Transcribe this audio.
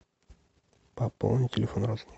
пополни телефон родственника